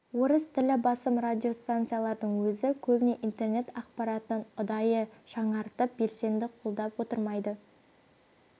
орыс тілі басым радиостанциялардың өзі көбіне интернет ақпаратын ұдайы жаңғыртып белсенді қолдап отырмайды